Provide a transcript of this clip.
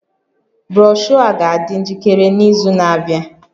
Broshọ a ga-adị njikere n'izu na-abịa